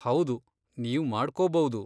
ಹೌದು, ನೀವ್ ಮಾಡ್ಕೋಬೌದು.